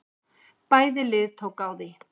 Bæði lið tóku á því.